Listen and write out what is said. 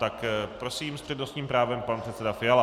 Tak prosím s přednostním právem pan předseda Fiala.